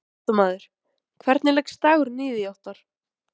Fréttamaður: Hvernig leggst dagurinn í þig Óttarr?